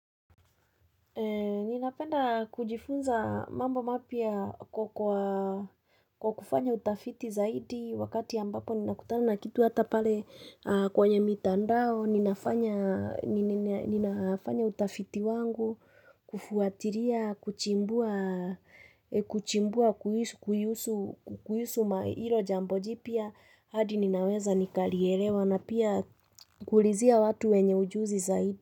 Ninapenda kujifunza mambo mapya kwa kufanya utafiti zaidi wakati ambapo nina kutana na kitu ata pale kwenye mitandao, ninafanya utafiti wangu, kufuatilia, kuchimbua kuchimbua kuhusu hilo jambo jipya adi ninaweza nikalielewa na pia kuulizia watu wenye ujuzi zaidi.